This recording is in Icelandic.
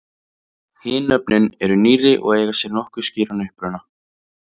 hin nöfnin eru nýrri og eiga sér nokkuð skýran uppruna